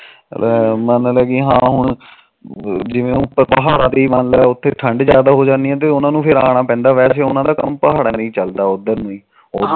ਲੈ ਮੰਨ ਲਾ ਕਿ ਹਾਂ ਹੁਣ ਜਿਵੇ ਪਹਾੜਾ ਤੇ ਮੰਨ ਲਾ ਜਿਵੇ ਉਥੇ ਠੰਡ ਜਾਦਾ ਹੋ ਜਾਂਦੀ ਫਿਰ ਉਹਨਾ ਨੂੰ ਆਣਾ ਪੈਦਾ ਵੈਸੇ ਉਹਨਾ ਦਾ ਕੰਮ ਪਹਾੜਾ ਤੇ ਚੱਲਦਾ ਉਧਰ ਹੀ